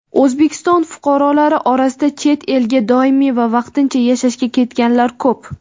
O‘zbekiston fuqarolari orasida chet elga doimiy va vaqtincha yashashga ketganlar ko‘p.